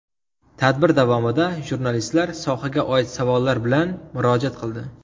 Tadbir davomida jurnalistlar sohaga oid savollar bilan murojaat qildi.